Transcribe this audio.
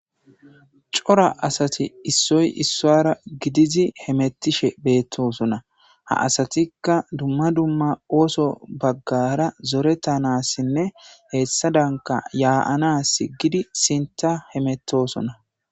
Cora asati issoy isuwara gidizi hemetishe betosona ha asatika dumma dumma oso bagara zoretanasinne hesadanka ya'anasi ekidi sintara hemetosnona